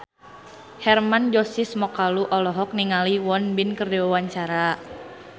Hermann Josis Mokalu olohok ningali Won Bin keur diwawancara